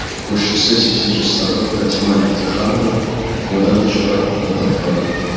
көршісі сексен жастағы фатима мелдеханова одан да жоғары қабатта тұрады